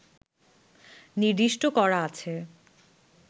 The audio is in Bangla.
নির্দিষ্ট করা আছে